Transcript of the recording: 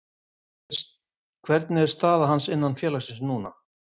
Hvernig er staða hans innan félagsins núna?